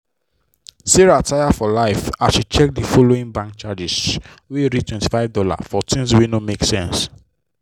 sarah taya for life as she check the monthly bank charges wey reachtwenty five dollarsfor things wey no make sense.